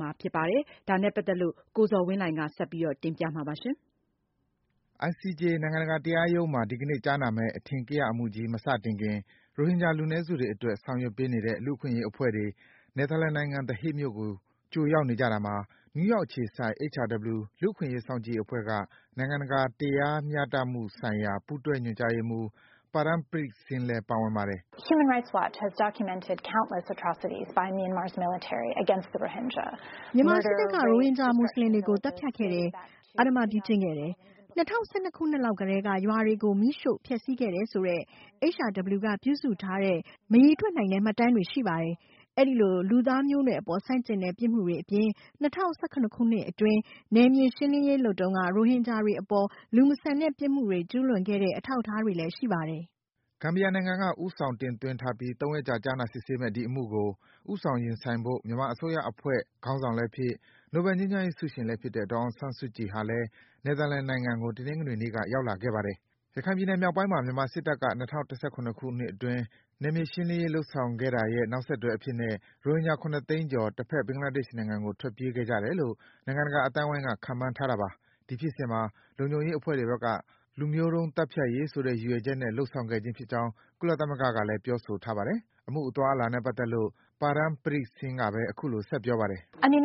မှာ ဖြစ်ပါတယ်။ ဒီအကြောင်း ရိုက်တာသတင်းကို အခြေခံပြီး ကိုဇော်ဝင်းလှိုင်က စတင်ပြပေးထားပါတယ်။ ICJ နိုင်ငံတကာတရားရုံးမှာ အင်္ဂါနေ့မှာ ကြားနာမယ့် အထင်ကရအမှုကြီး မစခင် ရိုဟင်ဂျာလူနည်းစုတွေအတွက် ဆောင်ရွက်ပေးနေတဲ့ လူ့အခွင့်အရေးအဖွဲ့တွေ နယ်သာလန်နိုင်ငံ၊ The Hague မြို့ကို ကြိုရောက်နေကြတာမှာ နယူးယောက်အခြေစိုက် HRW လူ့အခွင့်အရေး စောင့်ကြည့်ရေးအဖွဲ့က နိုင်ငံတကာတရား တရားမျှမှုဆိုင်ရာ ပူးတွဲညွန်ကြားရေးမှူး Param Preet-Singh လည်း ပါဝင်ပါတယ်။ “မြန်မာစစ်တပ်က ရိုဟင်ဂျာ မွတ်ဆလင်တွေကို သတ်ဖြတ်ခဲ့တယ်၊ အဓမ္မပြုကျင့်ခဲ့တယ်၊ ၂၀၁၂ ခုနှစ်လောက်ကတည်းက ရွာတွေကို မီးရှို့ ဖျက်ဆီးခဲ့တယ်ဆိုတဲ့ HRW က ပြုစုထားတဲ့ မရေတွက်နိုင်တဲ့ မှတ်တမ်းပြုစုထားတာတွေ ရှိပါတယ်။ အဲဒီလို လူသားမျိုးနွယ်အပေါ် ဆန့်ကျင်တဲ့ ပြစ်မှုတွေအပြင် ၂၀၁၇ ခုနှစ်အတွင်း နယ်မြေရှင်းလင်းရေးလုပ်တုန်းက ရိုဟင်ဂျာတွေအပေါ် လူမဆန်တဲ့ ပြစ်မှုတွေ ကျူးလွန်ခဲ့တဲ့ အထောက်အထားတွေလည်း ရှိပါတယ်။” ဂမ်ဘီယာနိုင်ငံက ဦးဆောင် တင်သွင်းထားပြီး ၃ ရက်ကြာ ကြားနာစစ်ဆေးမယ့် ဒီအမှုကို ဦးဆောင်ရင်ဆိုင်ဖို့ မြန်မာအစိုးရအဖွဲ့ ခေါင်းဆောင်လည်းဖြစ်၊ နိုဘဲငြိမ်းချမ်းရေးဆုရှင်လည်းဖြစ်တဲ့ ဒေါ်အောင်ဆန်းစုကြည်ဟာလည်း နယ်သာလန်နိုင်ငံကို တနင်္ဂနွေနေ့က ရောက်လာခဲ့ပါတယ်။ ရခိုင်ပြည်နယ်မြောက်ပိုင်းမှာ မြန်မာစစ်တပ်က ၂၀၁၇ ခုနှစ်အတွင်း နယ်မြေရှင်းလင်းရေး လုပ်ဆောင်ခဲ့တာရဲ့ နောက်ဆက်တွဲအဖြစ်နဲ့ ရိုဟင်ဂျာ ၇ သိန်းကျော် တဘက် ဘင်္ဂလားဒေ့ရှ်နိုင်ငံကို ထွက်ပြေးခဲ့ကြတယ်လို့ နိုင်ငံတကာအသိုင်းဝိုင်းက ခန့်မှန်းထားတာပါ။ ဒီဖြစ်စဉ်မှာ လုံခြုံရေးတပ်ဖွဲ့တွေဘက်က လူမျိုးတုံးသတ်ဖြတ်ရေးဆိုတဲ့ ရည်ရွယ်ချက်နဲ့ လုပ်ဆောင်ခဲ့ခြင်းဖြစ်ကြောင်း ကုလသမဂ္ဂက ပြောထားပါတယ်။ အမှုအသွားအလာနဲ့ ပတ်သက်လို့ Param Preet-Singh ကဘဲ အခုလို ဆက်ပြောပါတယ်။ “ဒီ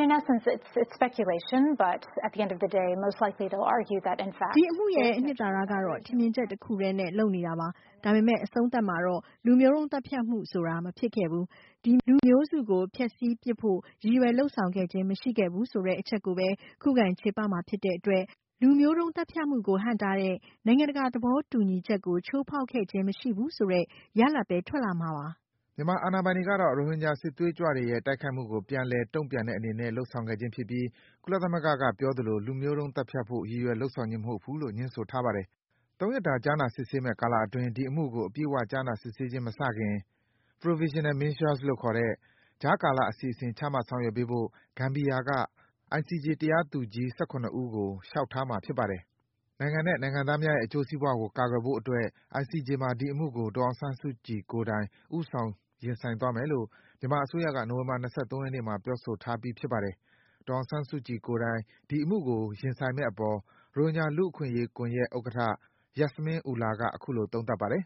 အမှုရဲ့ အနှစ်သာရကတော့ ထင်မြင်ချက်တခုထဲနဲ့ လုပ်နေတာပါ။ ဒါပေမယ့် အဆုံးသတ်မှာတော့ လူမျိုးတုံးသတ်ဖြတ်မှုဆိုတာ မဖြစ်ခဲ့ဘူး၊ ဒီလူမျိုးစုကို ဖျက်ဆီးပစ်ဖို့ ရည်ရွယ်လုပ်ဆောင်ခဲ့ခြင်း မရှိဘူးဆိုတဲ့ အချက်ကိုဘဲ ခုခံ ချေပမှာဖြစ်တဲ့အတွက် လူမျိုးသတ်ဖြတ်မှုကို ဟန့်တားတဲ့ နိုင်ငံတကာသဘောတူညီချက်ကို ချိုးဖောက်ခဲ့ခြင်း မရှိဘူးဆိုတဲ့ ရလဒ်ဘဲ ထွက်လာမှာပါ။” မြန်မာအာဏာပိုင်တွေကတော့ ရိုဟင်ဂျာ စစ်သွေးကြွတွေရဲ့ တိုက်ခိုက်မှုကို ပြန်လည် တုန့်ပြန်တဲ့အနေနဲ့ လုပ်ဆောင်ခဲ့ခြင်းဖြစ်ပြီး ကုလသမဂ္ဂကပြောသလို လူမျိုးတုံး သတ်ဖြတ်ဖို့ ရည်ရွယ်လုပ်ဆောင်ခြင်းမဟုတ်ဘူးဆိုပြီး ငြင်းဆိုထားပါတယ်။ ၃ ရက်တာ ကြားနာမယ့်ကာလအတွင်း ဒီအမှုကို အပြည့်အ၀ ကြားနာ စစ်ဆေးခြင်း မစတင်ခင် Provisional Measures လို့ ခေါ်တဲ့ ကြားကာလ အစီအစဉ် ချမှတ်ဆောင်ရွက်ပေးဖို့ ဂမ်ဘီယာက ICJ တရားသူကြီး ၁၇ ဦးကို လျှောက်ထားမှာ ဖြစ်ပါတယ်။ နိုင်ငံနဲ့ နိုင်ငံသားများရဲ့အကျိုးစီးပွားကို ကာကွယ်ဖို့အတွက် ICJ မှာ ဒီအမှုကို ဒေါ်အောင်ဆန်းစုကြည်ကိုယ်တိုင် ဦးဆောင် ရင်ဆိုင်သွားမယ်လို့ မြန်မာအစိုးရက နိုဝင်ဘာလ ၂၃ ရက်နေ့မှာ ပြောဆိုထားပြီး ဖြစ်ပါတယ်။ ဒေါ်အောင်ဆန်းစုကြည်ကိုယ်တိုင် ဒီအမှုကို ရင်ဆိုင်မယ့်အပေါ် ရိုဟင်ဂျာလူ့အခွင့်အရေးကွန်ယက်ဥက္ကဌ Yasmin Ullah က အခုလို သုံးသပ်ပါတယ်။ “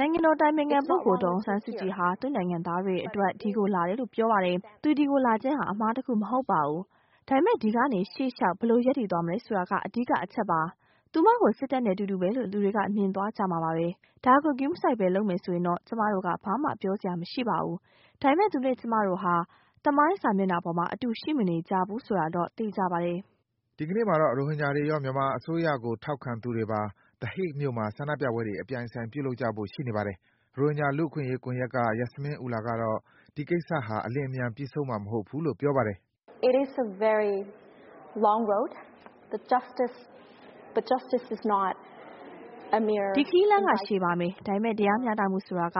နိုင်ငံတော်အတိုင်ပင်ခံပုဂ္ဂိုလ် ဒေါ်အောင်ဆန်းစုကြည်ဟာ သူ့နိုင်ငံသားတွေအတွက် ဒီကိုလာတယ်လို့ ပြောပါတယ်။ သူဒီကိုလာခြင်းဟာ အမှားတခုမဟုတ်ပါဘူး၊ ဒါပေမယ့် ဒီကနေ ရှေ့လျှောက် ဘယ်လို ရပ်တည်သွားမလဲဆိုတာက အဓိကအချက်ပါ။ သူမကို စစ်တပ်နဲ့ အတူတူဘဲလို့ လူတွေက မြင်သွားကြမှာပါဘဲ၊ ဒါကို ဂရုမစိုက်ဘဲ လုပ်မယ်ဆိုရင်တော့ ကျမတို့က ဘာမှ ပြောစရာ မရှိပါဘူး၊ ဒါပေမယ့် သူနဲ့ကျမတို့ဟာ သမိုင်းစာမျက်နှာပေါ်မှာ အတူ ရှိမနေကြဘူး ဆိုတာတော့ သေချာပါတယ်။” ဒီကနေ့မှာတော့ ရိုဟင်ဂျာတွေရော မြန်မာအစိုးရကို ထောက်ခံသူတွေပါ The Hague မြို့မှာ ဆန္ဒပြပွဲတွေ အပြိုင်အဆိုင် ပြုလုပ်ကြဖို့ ရှိနေပါတယ်။ ရိုဟင်ဂျာ လူ့အခွင့်အရေးကွန်ယက်က Yasmin Ullah ကတော့ ဒီကိစ္စဟာ အလျင်အမြန် ပြီးဆုံးမှာ မဟုတ်ဘူးလို့ ပြောပါတယ်။ “ဒီခရီးလမ်းက ရှည်ပါမယ်။ ဒါပေမယ့် တရားမျှတမှုဆိုတာက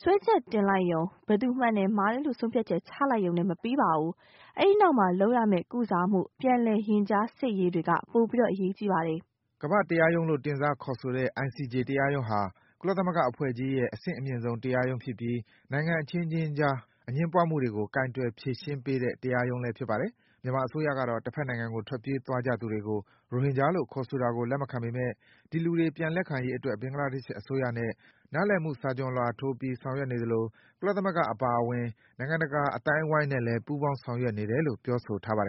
စွဲချက်တင်လိုက်ယုံ၊ ဘယ်သူမှန်တယ်၊ မှားတယ်လို့ ဆုံးဖြတ်ချက်ချပေးလိုက်ယုံနဲ့ မပြီးပါဘူး။ အဲဒီနောက်မှာ လုပ်ရမယ့် ကုစားမှု၊ ပြန်လည် ရင်ကြားစေ့ရေးတွေက ပိုအရေးကြီးပါတယ်။” ကမ္ဘာ့ တရားရုံးလို့ တင်စားခေါ်ဆိုတဲ့ ICJ တရားရုံးဟာ ကုလသမဂ္ဂအဖွဲ့ကြီးရဲ့ အဆင့်အမြင်ဆုံး တရားရုံးဖြစ်ပြီး နိုင်ငံအခြင်းခြင်းအကြား အငြင်းပွားမှုတွေကို ကိုင်တွယ် ဖြေရှင်းတဲ့ တရားရုံးဖြစ်ပါတယ်။ မြန်မာအစိုးရကတော့ တဘက်နိုင်ငံကို ထွက်ပြေးသွားကြသူတွေကို ရိုဟင်လို့ ခေါ်ဆိုတာကို လက်မခံပေမယ့် ဒီလူတွေ ပြန်လက်ခံရေးအတွက် ဘင်္ဂလားဒေ့ရှ်အစိုးရနဲ့ နားလည်မှုစာချွန်လွှာထိုးပြီး ဆောင်ရွက်နေသလို ကုလသမဂ္ဂအပါအဝင် နိုင်ငံတကာ အသိုင်းဝိုင်းနဲ့လည်း ပူးပေါင်း ဆောင်ရွက်နေတယ်လို့ ပြောဆိုထားပါတယ်